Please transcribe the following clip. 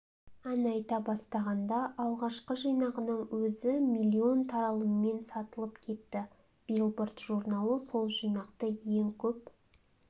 ән айта бастағанда алғашқы жинағының өзі миллион таралыммен сатылып кетті биллборд журналы сол жинақты ең көп